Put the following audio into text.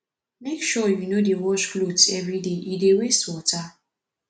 make sure you no dey wash clothes everyday e dey waste water